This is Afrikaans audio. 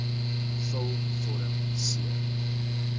vul vorm c